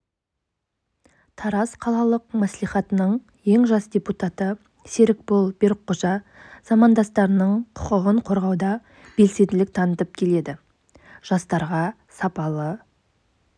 тараз қалалық мәслихатының ең жас депутаты серікбол берікқожа замандастарының құқығын қорғауда белсенділік танытып келеді жастарға сапалы